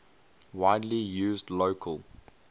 widely used local